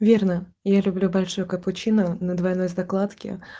верно я люблю большой капучино на двойной закладки